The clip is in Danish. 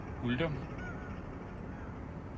Uldum